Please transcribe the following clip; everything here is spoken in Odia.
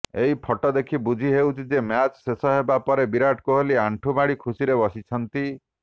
ଏହି ଫଟୋ ଦେଖି ବୁଝିହେଉଛି ଯେ ମ୍ୟାଚ ଶେଷ ହେବା ପରେ ବିରାଟ କୋହଲି ଆଣ୍ଠୁମାଡି ଖୁସିରେ ବସିଛନ୍ତି